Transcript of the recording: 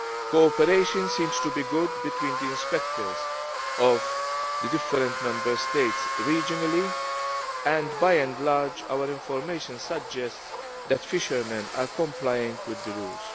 Cooperation seems to be good between the inspectors of the different Member States regionally, and by and large our information suggests that fishermen are complying with the rules.